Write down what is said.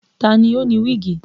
Ta ni ó ni wíìgì?